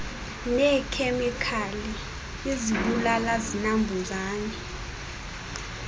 neekhemikali izibulala zinambuzane